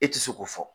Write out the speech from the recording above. E ti se k'o fɔ